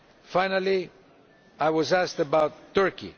Finally, I was asked about Turkey.